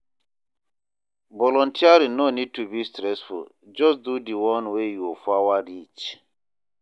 Volunteering no nid to be stressful jus do di one wey yur power reach